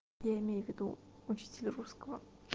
я имею в виду учитель русского